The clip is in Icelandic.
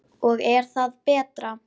Og er það betra?